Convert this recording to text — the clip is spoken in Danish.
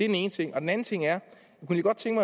den ene ting den anden ting er